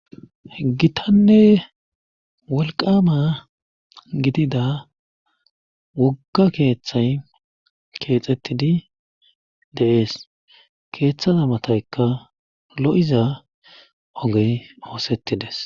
Gitanne wolqama gidida wogga keeththay keexettidi deees keeththaza mataykka lo7iza ogey oosettides.